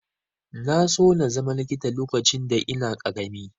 Na so na zama likita lokacin da ina ƙarami.